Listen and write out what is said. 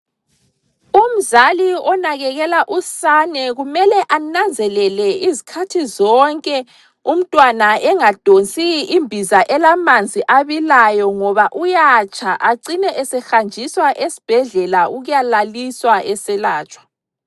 Umzali onakekela usane kumele ananzelele izikhathi zonke, umntwana engadonsi imbiza elamanzi abilayo ngoba uyatsha, acine esehanjiswa esibhedlela ukuyalaliswa eselatshwa.